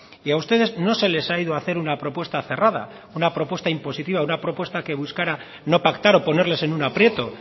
y a ustedes no se les ha ido a hacer una propuesta cerrada una propuesta impositiva una propuesta que buscara no pactar o ponerles en un aprieto